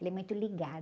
Ela é muito ligada.